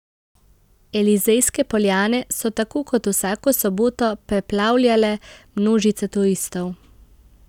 Elizejske poljane so tako kot vsako soboto preplavljale množice turistov.